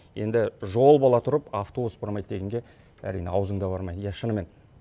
енді жол бола тұрып автобус бармайды дегенге әрине аузың да бармайды иә шынымен